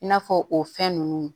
I n'a fɔ o fɛn ninnu